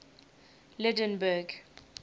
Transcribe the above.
lydenburg